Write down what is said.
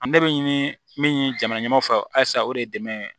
An ne bɛ ɲini min jamana ɲɛmɔgɔ fɛ halisa o de ye dɛmɛ ye